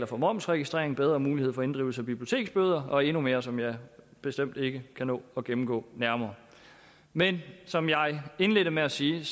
for momsregistrering bedre mulighed for inddrivelse af biblioteksbøder og endnu mere som jeg bestemt ikke kan nå at gennemgå nærmere men som jeg indledte med at sige